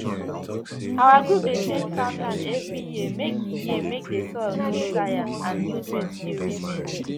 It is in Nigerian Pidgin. our group dey change farmland every year make the year make the soil no tire and nutrients still remain